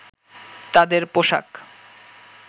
তাদের পোশাক